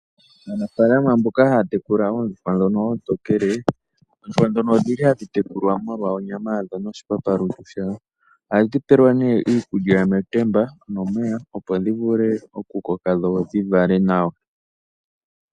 Aanafaalama mboka haya tekula oondjuhwa ndhono oontokele, oondjuhwa ndhono odhili hadhi tekulwa molwa onyama yadho noshipapa lungu shawo. Oha dhi pelwa nee iikulya metemba nomeya opo dhi vule oku koka dho dhi vale nawa.